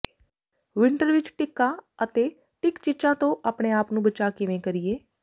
winter ਵਿੱਚ ਟਿੱਕਾਂ ਅਤੇ ਟਿੱਕ ਚਿੱਚਾਂ ਤੋਂ ਆਪਣੇ ਆਪ ਨੂੰ ਬਚਾਅ ਕਿਵੇਂ ਕਰੀਏ